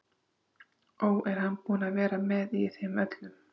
Ó, er hann búinn að vera með í þeim öllum?